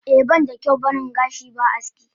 Eh banda kyau baring gashi ba aski.